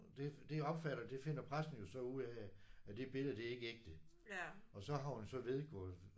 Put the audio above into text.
Det det opfatter det finder pressen jo så ud af at at det billede det er ikke ægte. Og så har hun så vedgået